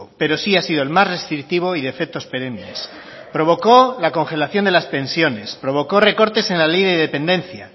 pero sí ha sido el más restrictivo y de efectos perennes provocó la congelación de las pensiones provocó recortes en la ley de dependencia